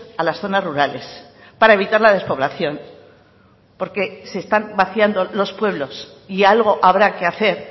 a las zonas rurales para evitar la despoblación porque se están vaciando los pueblos y algo habrá que hacer